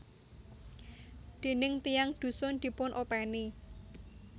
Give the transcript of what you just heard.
Déning tiyang dhusun dipun openi